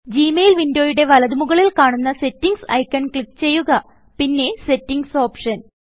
G mail വിന്ഡോയുടെ വലതു മുകളിൽ കാണുന്ന സെറ്റിംഗ്സ് ഐക്കൺ ക്ലിക്ക് ചെയ്യുകപിന്നെ Settingsഓപ്ഷൻ